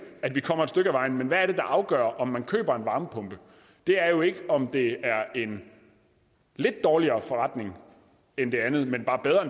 at vi kommer et stykke af vejen men hvad afgør om man køber en varmepumpe det er jo ikke om det er en lidt dårligere forretning end det andet men bare bedre